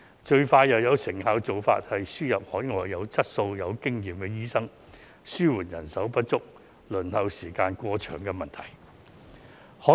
最快又有成效的做法，便是輸入海外有質素和經驗的醫生，以紓緩人數不足和輪候時間過長的問題。